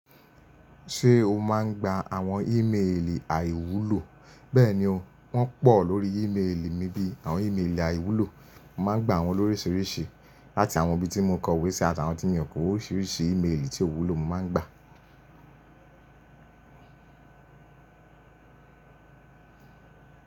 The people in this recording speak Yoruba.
Ṣé o máa ń gba àwọn ímeèlì àìwúlò? Bẹ́ẹ̀ni o, wọ́n pọ̀ lórí ímeèlì mi bí i àwọn ímeèlì àìwúlò. Mo máa ń gba wọn lóríṣiríṣi láti àwọn ibi tí mo kọ ìwé sí àtàwọn tí mi o Oríṣiríṣi ímeèlì tí o wúlò mo máa ń gba.